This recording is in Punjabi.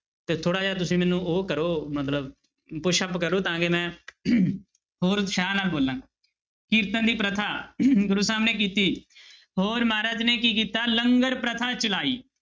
ਤੇ ਥੋੜ੍ਹਾ ਜਿਹਾ ਤੁਸੀਂ ਮੈਨੂੰ ਉਹ ਕਰੋ ਮਤਲਬ pushup ਕਰੋ ਤਾਂ ਕਿ ਮੈਂ ਹੋਰ ਉਤਸਾਹ ਨਾਲ ਬੋਲਾਂ, ਕੀਰਤਨ ਦੀ ਪ੍ਰਥਾ ਗੁਰੂ ਸਾਹਿਬ ਨੇ ਕੀਤੀ ਹੋਰ ਮਹਾਰਾਜ ਨੇ ਕੀ ਕੀਤਾ ਲੰਗਰ ਪ੍ਰਥਾ ਚਲਾਈ।